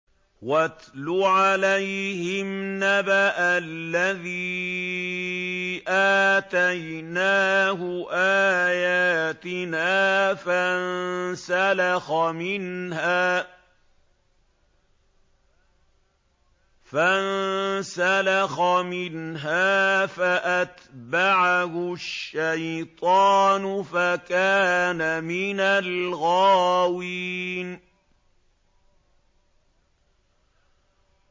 وَاتْلُ عَلَيْهِمْ نَبَأَ الَّذِي آتَيْنَاهُ آيَاتِنَا فَانسَلَخَ مِنْهَا فَأَتْبَعَهُ الشَّيْطَانُ فَكَانَ مِنَ الْغَاوِينَ